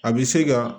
A bɛ se ka